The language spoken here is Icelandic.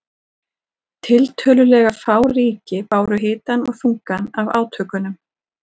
Tiltölulega fá ríki báru hitann og þungann af átökunum.